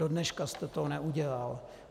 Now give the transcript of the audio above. Dodnes jste to neudělal.